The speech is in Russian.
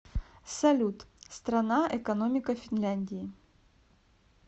салют страна экономика финляндии